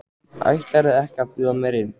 Ætlarðu ekki að bjóða mér inn?